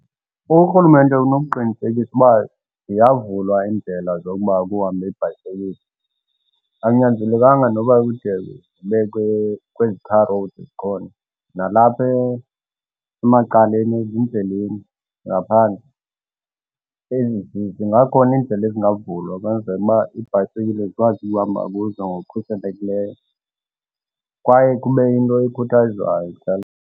Urhulumente unokuqinisekisa uba ziyavulwa iindlela zokuba kuhambe iibhayisekile. Akunyanzelekanga noba ide zibekwe kwezi tar road zikhona. Nalapha emacaleni ezindleleni ngaphandle, zingakhona iindlela singavulwa ukwenzela uba iibhayisekile zikwazi ukuhamba kuzo ngokukhuselekileyo, kwaye kube into ikhuthazwayo ekuhlaleni.